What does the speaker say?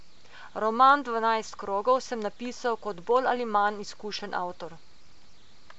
Roman Dvanajst krogov sem napisal kot bolj ali manj izkušen avtor.